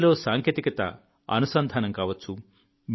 విద్యలో సాంకేతికత అనుసంధానం కావచ్చు